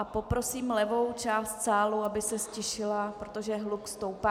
A poprosím levou část sálu, aby se ztišila, protože hluk stoupá.